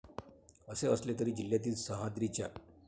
असे असले तरी जिल्हातील सह्याद्रीच्या.